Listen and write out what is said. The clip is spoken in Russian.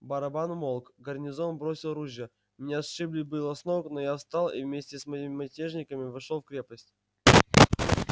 барабан умолк гарнизон бросил ружья меня сшибли было с ног но я встал и вместе с мятежниками вошёл в крепость